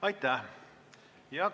Aitäh!